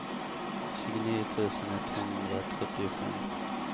tjugonio tusen etthundratrettiofem